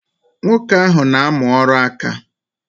Nwoke ahụ n'amụ ọrụ ǹkà